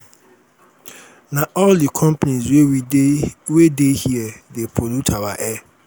na all di oil companies wey dey here dey pollute our air.